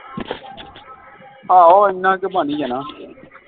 ਆਹੋ ਇੰਨਾ ਕੇ ਬਣ ਹੀ ਜਾਣਾ